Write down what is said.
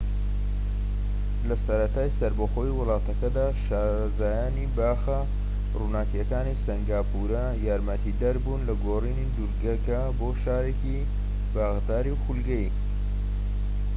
لە سەرەتای سەربەخۆیی وڵاتەکەدا شارەزایانی باخە ڕووەکیەکانی سەنگاپورە یارمەتیدەر بوون لە گۆڕینی دورگەکە بۆ شارێکی باخداری خولگەیی